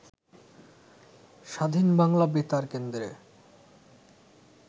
স্বাধীন বাংলা বেতার কেন্দ্রে